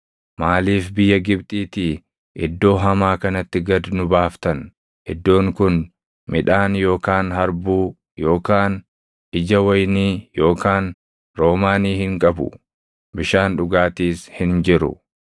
Maaliif biyya Gibxiitii iddoo hamaa kanatti gad nu baaftan? Iddoon kun midhaan yookaan harbuu yookaan ija wayinii yookaan roomaanii hin qabu. Bishaan dhugaatiis hin jiru!”